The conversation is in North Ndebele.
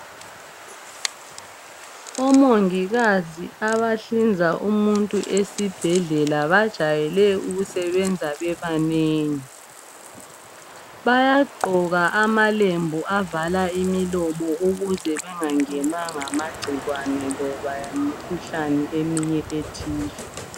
o mongikazi abahlinza umuntu esibhedlela bajayele ukusebenza bebanengi bayagqoka amalembu avala imilomo ukuze bengangenwa ngamagcikwane loba ikhuhlane eminye ethile